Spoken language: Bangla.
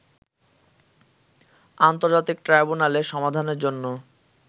আন্তর্জাতিক ট্রাইব্যুনালে সমাধানের জন্য